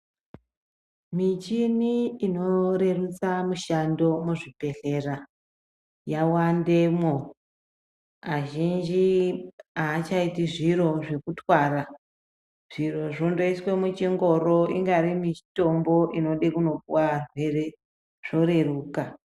Muchini inorerutsa mishando muzvibhehlera yawandemwo. Azhinji achaiti zviro zvekutwara. Zviro zvondoiswe muchingoro ingari nemitombo inenge ichida kunopiwa arwere zvoreruka.